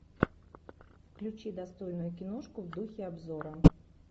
включи достойную киношку в духе обзора